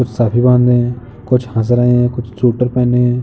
कुछ साफी बांध रहे हैं कुछ हँस रहे हैं कुछ सूटर पहने हैं।